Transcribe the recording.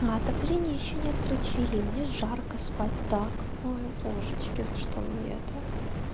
а отопление ещё не отключили мне жарко спать так ой божечки за что мне это